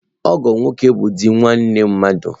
Ọgọ nwoke bụ di nwanne mmadụ.